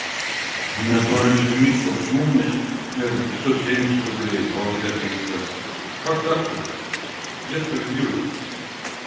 у меня тоже безлимитище почему у меня этот пятьсот семьдесят рублей а у тебя триста как так-то блядь где справедливость то